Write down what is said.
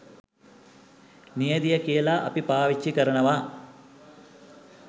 නියැදිය කියලා අපි පාවිච්චි කරනවා